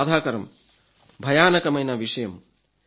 ఇది బాధాకరం భయానకమైన విషయం